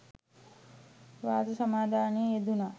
ව්‍රත සමාදානයේ යෙදුණා